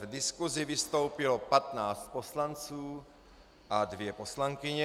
V diskusi vystoupilo 15 poslanců a dvě poslankyně.